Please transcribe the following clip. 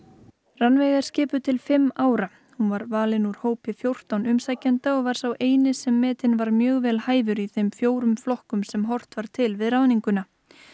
Rannveig er skipuð til fimm ára hún var valin úr hópi fjórtán umsækjenda og var sá eini sem metinn var mjög vel hæfur í þeim fjórum flokkum sem horft var til við ráðninguna